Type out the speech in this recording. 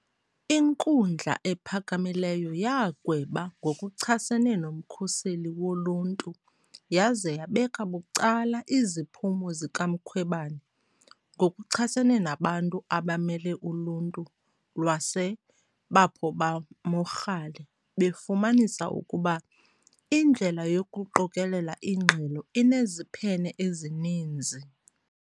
INkundla ePhakamileyo yagweba ngokuchasene noMkhuseli Woluntu yaze yabeka bucala iziphumo zikaMkhwebane ngokuchasene nabantu abamele uluntu lwaseBapo ba Mogale befumanisa ukuba indlela yokuqokelela ingxelo ineziphene ezininzi.